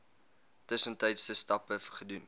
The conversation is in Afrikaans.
tussentydse stappe gedoen